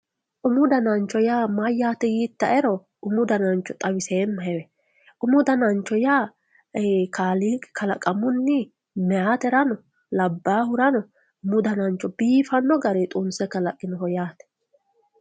umu danancho yaa mayaate yiita"ero umu danancho xawiseemahe umu danancho yaa kaaliiqi kalaqamunni meeyaaterano labaahurano umu danancho biifanno garii xumise kalaqinoho yaate.